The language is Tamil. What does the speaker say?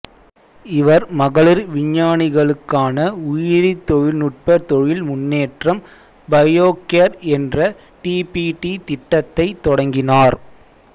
இவர் மகளிர் விஞ்ஞானிகளுக்கான உயிரிதொழில்நுட்ப தொழில் முன்னேற்றம் பயோகேர் என்ற டிபிடி திட்டத்தைத் தொடங்கினார்